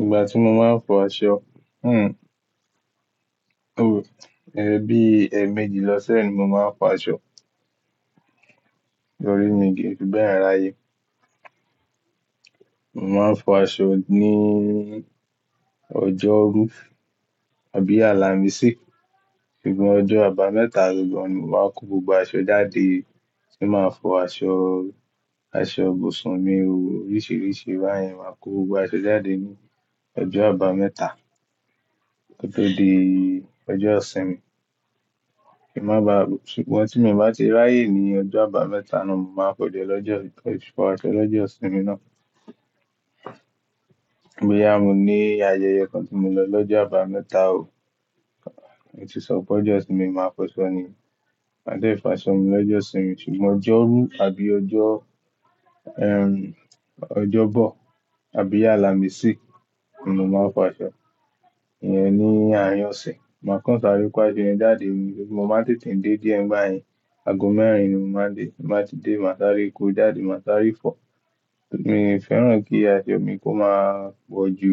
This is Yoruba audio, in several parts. Ìgbà tí mo máa ń fọ aṣọ, hmm, oh, ẹe bí, ẹ́ẹ̀mẹjì lọ́sẹ̀ ni mo máa ń fọ aṣọ. Torí mi kí n fi bẹ́ẹ̀ ráyè. Mo máa ń fọ aṣọ ní ọjọ́rú àbí Àlàmísì. Ṣùgbọ́n ọjọ́ àbámẹ́ta gangan ni mo n màá kó gbogbo aṣọ jáde tí màá fọ aṣọ, aṣọ busunmi òó, oríṣìíríṣìí báyen, màá kó gbogbo aṣọ jáde ní ọjọ́ àbámẹ́ta ko tọ́ di ọjọ́ sínmi. Kí má ba-- ṣùgbọ́n tí mo bá ti ráyè ní ọjọ́ àbámẹ́ta náà, mo máa fọso lọ́jọ́, fọ aṣọ lọ́jọ́ isínmi náà. Ki sé boyà mo ní ayẹyẹ kan tí mo n lọ lọ́jọ́ àbámẹ́ta òó, èyí tí sọ pé ọjọ́ ọ̀sínmi màá fọṣọ ni. Màá dé fàṣọ mi lọ́jọ́ isínmi ṣùgbọ́n ọjọ́rú àbí ọjọ́, ẹm, ọjọ́bọ̀ àbí Àlàmísì ni mo máa n fọ aṣọ. Ìyẹn ni àárín ọ̀sẹ̀. Màá kan sàre kó aṣọ yẹn jáde, mo máa n tètè dé díẹ̀ ngbáyen. Aago mẹ́rin ni mo máa dé. Tí n bá ti dé mà sáré kó jáde, mà sáré fọ. Mi ò fẹ́ràn kí aṣọ mi kó máa pọ̀ jù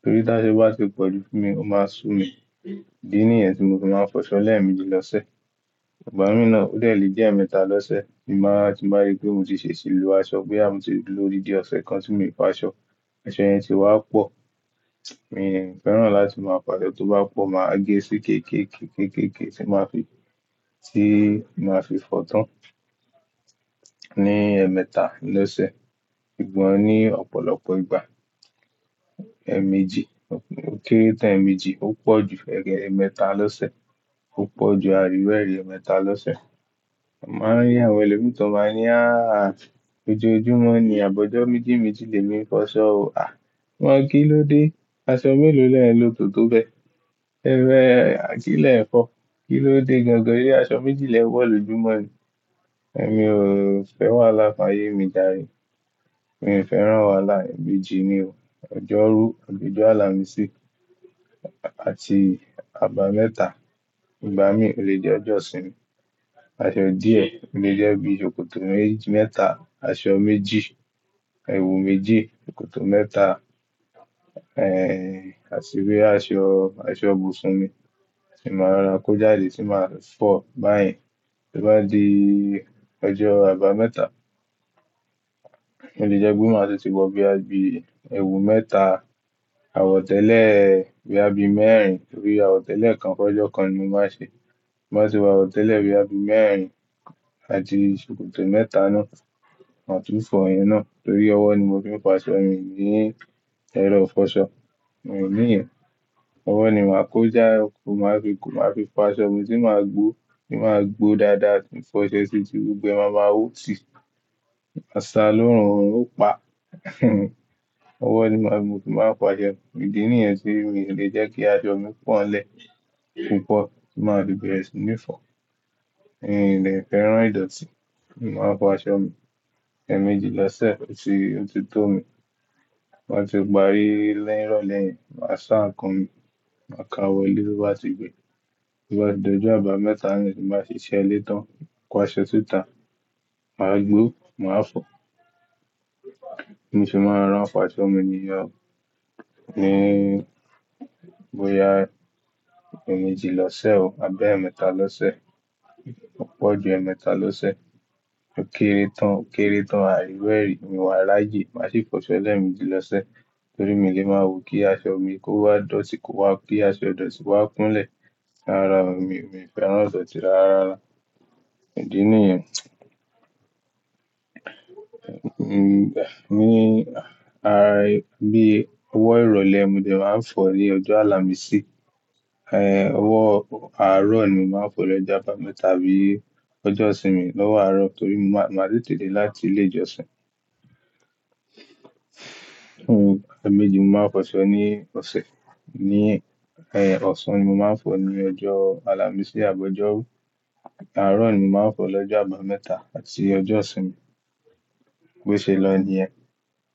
nítorí tí aso bá ti pọ̀ jù fún mi, ó máa sú mi. Idi níyẹn tí mo ti máa ń fọṣọ lẹ́ẹ̀mejì lọ́sẹ̀. Ìgbá mi náà ó de le je ẹ́ẹ̀mẹ́ta lọ́sẹ̀ tí màá tí bá rí pé mo ti ṣèṣì lo aṣọ, boyà mo tí duro lòdindi ọ̀sẹ̀ kan tí mi ò fọ aṣọ, aṣọ yẹn ti wá pọ̀. Mi ò fẹ́ràn láti máa fo aṣọ tó bá pọ̀, màá gẹ́ sí kéé, kéé, kéé, kéé, kéé tí màá fi, tí màá fi fọ tán ní ẹ́ẹ̀mẹ́ta lọ́sẹ̀. Ṣùgbọ́n ní ọ̀pọ̀lọpọ̀ ìgbà, ẹ́ẹ̀mejì, ó kéré tán ẹ́ẹ̀mejì, ó pọ̀ jù ẹ́ẹ̀mẹ́ta lọ́sẹ̀, ó pọ̀ jù àríruéẹ̀rì ẹ́ẹ̀mẹ́ta lọ́sẹ̀. Màá n rí àwọn ẹlòmíràn tó máa ń ní háà, ojú ojoọ́jumọ́ ni, àbọ̀jọ́ méjì méjì lè mi fọṣọ o. À! Wọ́n kí ló dé? Aṣọ mélòó lẹ́ẹ̀ n lo tòtò bẹ́. Ẹ́ẹ̀rẹ̀, à kílé n fọ̀. Kí ló dé gangan sé aṣọ méjì lẹ́ n wo lójúmọ́ ni? Ẹ̀mi ò fẹ́ wàhálà fáyé mi járe. Mi ò fẹ́ràn wàhálà. Ẹ́ẹ̀mejì ni o. Ọjọ́rú àbí ọjọ́ Àlàmísì àti àbámẹ́ta ìgbá mi o lè di ọjọ́ isínmi. Aṣọ díẹ̀ o lè jẹ́ bí i ṣòkòtò méji mẹ́ta, aṣọ méjì, ẹwù méjì, ṣòkòtò mẹ́ta, ẹ́ẹ̀, àti bí i aṣọ, aṣọ busunmi tí màá rorà kó jáde tí màá fọ̀ báyen. Bí o bá di ọjọ́ àbámẹ́ta, ó lè jẹ́ pé máa tun ti wọ bí i boya bí, ẹwù mẹ́ta, àwọ̀tẹ́lẹ̀, boya bí mẹ́rin nítorí àwọ̀tẹ́lẹ̀ kan fọjú ọ̀kan ni mo máa ṣe. Bí n bá ti wọ àwọ̀tẹ́lẹ̀ boya bí mẹ́rin àti ṣòkòtò mẹ́ta náà, màá túfọ̀ iyẹn náà nítorí ọwọ́ ni mo fi ń fo aṣọ mi, mi ní ẹ̀rọ fọṣọ. Mi o níyẹn. Ọwọ́ ni màá kó já, màá fi kò, màá fi fo aṣọ mi tí màá gbó, tí màá gbó dáadáa tí ma fi oṣẹ́ ṣi ti gbogbo e máa maa hó ti. Maa ṣà lóòrùn, oorun ó pa. Ọwọ́ ni màá gbó, tí màá fo aṣọ mi. Idi níyẹn ti mi ò lè jẹ́ kí aṣọ mi pọ́ n lẹ̀ púpọ̀ tí màá fi bẹ̀re si ní fọ. Mi ò dè fẹ́ràn ìdọ̀tí. Mo máa ń fọ aṣọ mi ẹ́ẹ̀mejì lọ́sẹ̀ tí ó ti tó mi. Ti mo bá ti parí nirọ̀lẹ́ẹ̀ yen, màá ṣáà nkan mi, màá ka wọlé tó bá ti gbẹ. Tó bá di ọjọ́ àbámẹ́ta naa tí n bà ṣe siṣẹ́ ilẹ́ tàn, ko aṣọ sita, màá gbó, màá fọ̀. Bi mo se máa n rorá n fọ aṣọ mi ní ye o, ní, bóyá ẹ́ẹ̀mejì lọ́sẹ̀ o àbí ẹ́ẹ̀mẹ́ta lọ́sẹ̀, ó pọ̀ ju ẹ́ẹ̀mẹ́ta lọ́sẹ̀, ó kéré tán, ó kéré tán àríruẹ̀rì, mi wà ráyé. Màá sì fọṣọ lẹ́ẹ̀mejì lọ́sẹ̀ nítorí mi ò lè máa wò kí aṣọ mi kó wá dọ̀tí kó wá, kí aṣọ dọ̀tí wá kúnlẹ̀. Rárá, mi ò fẹ́ràn ìdọ̀tí rárá. Idi níyẹn. Hmm, mi, ààrẹ, bí i ọwọ́ ìrọ̀lẹ́ ni mò de máa ń fọ ní ọjọ́ Àlàmísì. Ẹ́ẹ̀, ọwọ́ àárọ̀ ni màá ń fọ lọ́jọ́ àbámẹ́ta àbí ọjọ́ ọ̀sínmi lọ́wọ́ àárọ̀ nítorí màá tètè dé láti ilé ìjọsìn. Hmm, ẹ́ẹ̀mejì mo máa ń fọṣọ ní ọ̀sẹ̀. Ní, ẹ́ẹ̀, ọ̀ṣan ni mo màá ń fọ ní ọjọ́ Àlàmísì àbọ̀ ọjọ́rú. Àárọ̀ ni màá ń fọ lọ́jọ́ àbámẹ́ta àti ọjọ́ ọ̀sínmi. Bó ṣe lọ ni ẹ́.